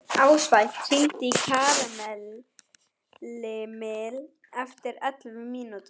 Ástvald, hringdu í Karlemil eftir ellefu mínútur.